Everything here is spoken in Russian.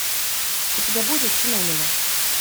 у тебя будет синонимы